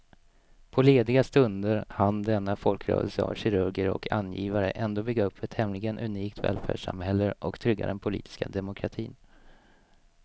På lediga stunder hann denna folkrörelse av kirurger och angivare ändå bygga upp ett tämligen unikt välfärdssamhälle och trygga den politiska demokratin.